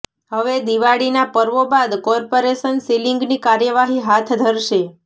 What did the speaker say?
હવે દિવાળીના પર્વો બાદ કોર્પોરેશન સીલીંગની કાર્યવાહી હાથ ધરશે